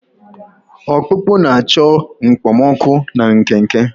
Ọkpụkpụ na-achọ okpomọkụ na nkenke.